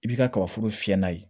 I b'i ka kabaforo fiyɛ n'a ye